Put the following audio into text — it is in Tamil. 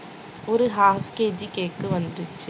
ஒரு half KG cake வந்துச்சு